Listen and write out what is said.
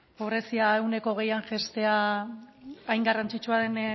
pobrezia ehuneko hogeian jaistea hain garrantzitsua den